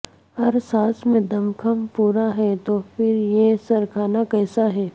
ہر ساز میں دم خم پورا ہے تو پھر یہ سرکنا کیسا ہے